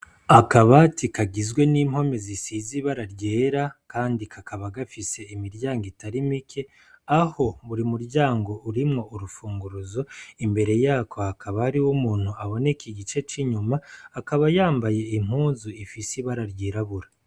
akabati kagizwe n'impome zisize ibara ryera kandi kakaba gafise imiryango itari mike aho buri muryango urimwo urufunguruzo imbere yako hakaba hariho umuntu aboneka igice c'inyuma akaba yambaye impunzu zifise ibara ryirabura